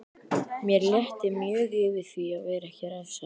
Mér létti mjög yfir því að vera ekki refsað.